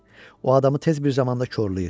O adamı tez bir zamanda korlayır.